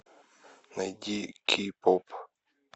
найди кей поп